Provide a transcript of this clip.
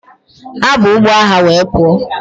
Ha bu ụgbọ agha were pụọ.